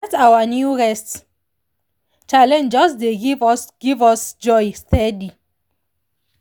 that our new rest challenge just dey give us give us joy steady.